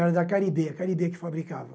Era da Caribe, a Caribe que fabricava.